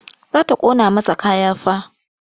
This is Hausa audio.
Za ta ƙona masa kaya fa.